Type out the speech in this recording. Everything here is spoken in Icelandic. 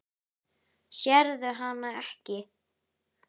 Sérðu hana ekki?